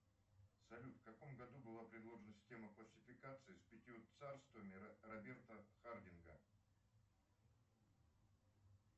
салют в каком году была предложена система классификации с пятью царствами роберта хардинга